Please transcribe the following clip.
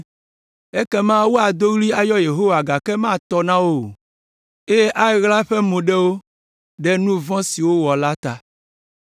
Ekema woado ɣli ayɔ Yehowa gake matɔ na wo o eye aɣla eƒe mo ɖe wo ɖe nu vɔ̃ si wowɔ la ta.